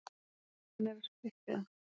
Hann er að sprikla.